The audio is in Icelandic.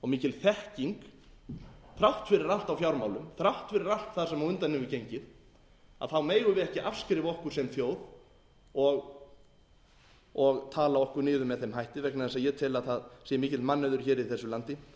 mikil þekking þrátt fyrir allt á fjármálum þrátt fyrir allt það sem á undan hefur gengið megum við ekki afskrifa okkur sem þjóð og tala okkur niður með þeim hætti vegna þess að ég tel að það sé mikill mannauður hér í þessu landi